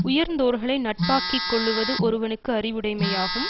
உயர்ந்தோர்களை நட்பாக்கி கொள்ளுவது ஒருவனுக்கு அறிவுடைமையாகும்